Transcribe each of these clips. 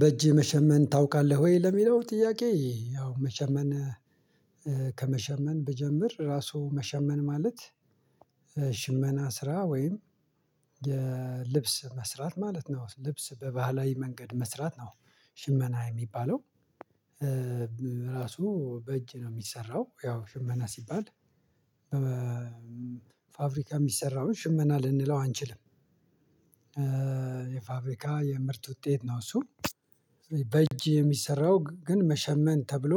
በእጅህ መሸመን ታውቃለህ ወይ? ለሚለው ጥያቄ ያው መሸመን ከመሸመን ብጀምር ራሱ መሸመን ማለት ሸ ሽመና ስራ ወይም የልብስ መስራት ማለት ነው ልብስ በባህላዊ መንገድ መስራት ነው። ሽመና የሚባለው ራሱ በእጅ ነው የሚሰራው ያው ሽመና ሲባል በፋብሪካ የሚሰራውን ሽመና ልንለው አንችልም። የፋብሪካ የምርት ውጤት ነው እሱ በእጅ የሚሰራው ግን መሸመን ተብሎ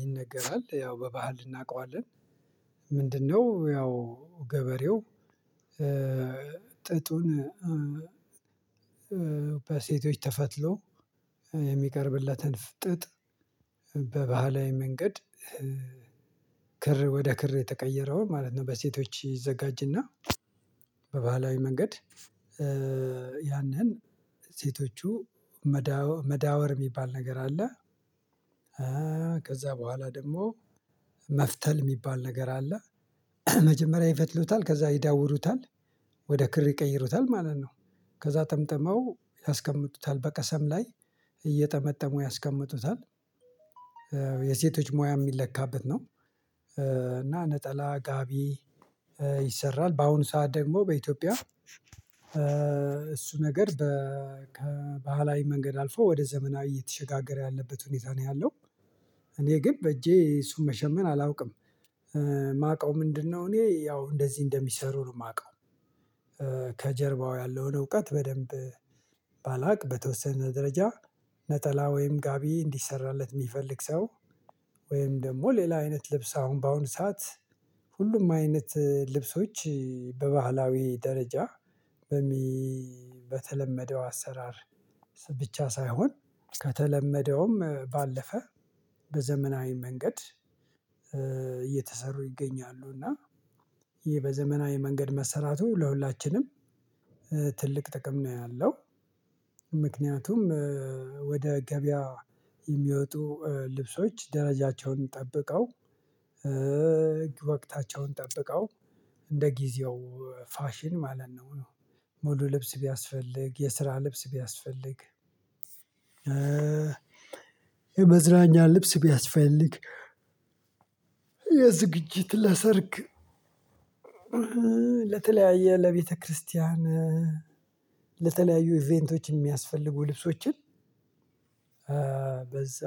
ይነገራል ያው በባህል እናውቀዋለን። ምንድን ነው? ያው ገበሬው ጥጡን በሴቶች ተፈትሎ የሚቀርብለትን ፍጥጥ በባህላዊ መንገድ ክር ወደ ክር የተቀየረውን ማለት ነው በሴቶች ይዘጋጅና በባህላዊ መንገድ ያንን ሴቶቹ መዳወር መዳወር የሚባል ነገር አለ። ከዛ በኋላ ደግሞ መፍተል የሚባል ነገር አለ። መጀመሪያ ይፈትሉታል ከዛ ይዳውሩታል ወደ ክር ይቀይሩታል ማለት ነው። ከዛ ጠምጥመው ያስቀምጡታል በቀሰም ላይ እየጠመጠሙ ያስቀምጡታል። የሴቶች ሙያ የሚለካበት ነው። እና ነጠላ ጋቢ ይሰራል በአሁኑ ሰዓት ደግሞ በኢትዮጵያ እሱ ነገር በ ከባህላዊ መንገድ አልፎ ወደ ዘመናዊ እየተሸጋገረ ያለበት ሁኔታ ነው ያለው። እኔ ግን በእጄ እሱን መሸመን አላውቅም። የማውቀው ምንድነው? እኔ ያው እንደዚህ እንደሚሰሩ ነው የማውቀው። ከጀርባው ያለውን እውቀት በደንብ ባላቅ በተወሰነ ደረጃ ነጠላ ወይም ጋቢ እንዲሰራለት የሚፈልግ ሰው ወይም ደግሞ ሌላ አይነት ልብስ አሁን በአሁኑ ሰዓት ሁሉም አይነት ልብሶች። በባህላዊ ደረጃ በሚ በተለመደው አሰራር ብቻ ሳይሆን ከተለመደውም ባለፈ በዘመናዊ መንገድ እየተሰሩ ይገኛሉ። እና ይሄ በዘመናዊ መንገድ መሰራቱ ለሁላችንም ትልቅ ጥቅም ነው ያለው። ምክንያቱም ወደ ገበያ የሚወጡ ልብሶች ደረጃቸውን ጠብቀው ወቅታቸውን ጠብቀው እንደ ጊዜው ፋሽን ማለት ነው። ሙሉ ልብስ ቢያስፈልግ የስራ ልብስ ቢያስፈልግ የመዝናኛ ልብስ ቢያስፈልግ የዝግጅት ለሰርግ ለተለያየ ለቤተክርስቲያን ለተለያዩ ኢቨንቶች የሚያስፈልጉ ልብሶችን በዛ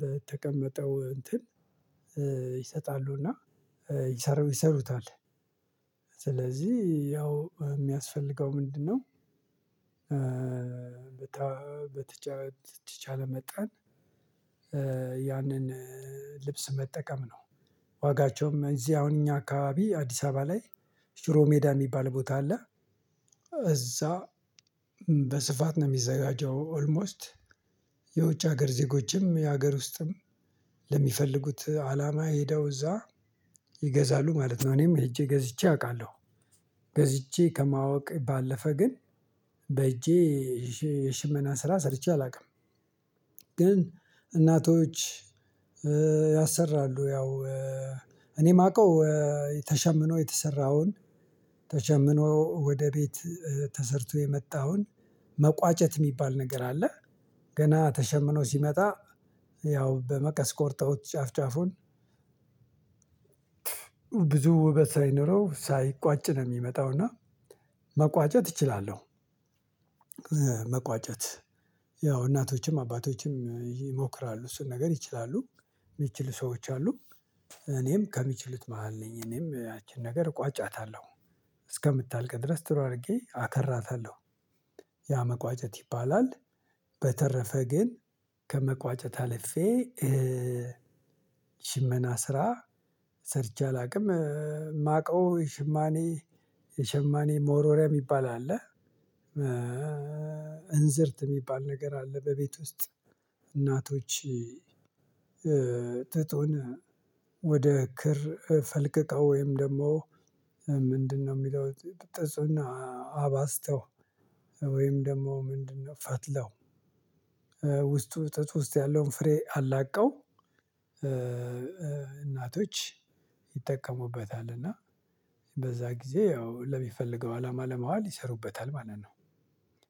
በተቀመጠው እንትን ይሰጣሉ እና ይሰሩ ይሰሩታል ስለዚህ ያው የሚያስፈልገው ምንድነው በተቻለ መጠን ያንን ልብስ መጠቀም ነው። ዋጋቸውም እዚህ አሁን እኛ አካባቢ አዲስ አበባ ላይ ሽሮ ሜዳ የሚባል ቦታ አለ። እዛ በስፋት ነው የሚዘጋጀው ኦልሞስት የውጭ ሀገር ዜጎችም የሀገር ውስጥም ለሚፈልጉት አላማ ሄደው እዛ ይገዛሉ ማለት ነው። እኔም ሄጄ ገዝቼ አውቃለሁ ገዝቼ ከማወቅ ባለፈ ግን በእጄ የሽመና ስራ ሰርቼ አላውቅም። ግን እናቶች ያሰራሉ ያው እኔ የማውቀው ተሸምኖ የተሰራውን ተሸምኖ ወደ ቤት ተሰርቶ የመጣውን መቋጨት የሚባል ነገር አለ። ገና ተሸምኖ ሲመጣ ያው በመቀስ ቆርጠውት ጫፍ ጫፉን ብዙ ውበት ሳይኖረው ሳይቋጭ ነው የሚመጣው። እና መቋጨት እችላለሁ። መቋጨት ያው እናቶችም አባቶችም ይሞክራሉ እሱን ነገር ይችላሉ። የሚችሉ ሰዎች አሉ። እኔም ከሚችሉት መሃል ነኝ እኔም ያቺን ነገር ቋጫታለሁ እስከምታልቅ ድረስ ጥሩ አድርጌ አከራታለሁ ያ መቋጨት ይባላል። በተረፈ ግን ከመቋጨት አልፌ ሽመና ስራ ሰርቼ አላውቅም። ማቀው የሸማኔ የሸማኔ መወርወርያ የሚባል አለ። እንዝርት የሚባል ነገር አለ። በቤት ውስጥ እናቶች ጥጡን ወደ ክር ፈልቅቀው ወይም ደግሞ ምንድነው? የሚለው ጥጡን አባዝተው ወይም ደግሞ ምንድነው? ፈትለው ውስጡ ጥጥ ውስጥ ያለ ፍሬ አላቀው እናቶች ይጠቀሙበታል እና በዛ ጊዜ ያው ለሚፈለገው አላማ ለማዋል ይሰሩበታል ማለት ነው።